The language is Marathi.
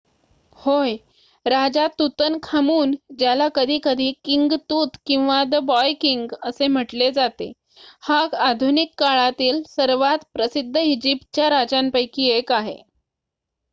"होय! राजा तूतनखामून ज्याला कधीकधी "किंग तूत" किंवा "द बॉय किंग" असे म्हटले जाते हा आधुनिक काळातीळ सर्वांत प्रसिद्ध इजिप्तच्या राजांपैकी एक आहे.